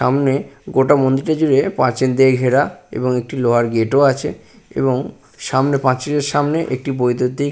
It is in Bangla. সামনে গোটা মন্দিরটা জুড়ে পাচিল দিয়ে ঘেরা এবং একটি লোহার গেট ও আছে এবং সামনে পাঁচিলের সামনে একটি বৈদ্যুতিক-